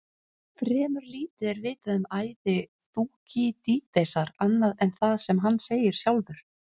Fremur lítið er vitað um ævi Þúkýdídesar annað en það sem hann segir sjálfur.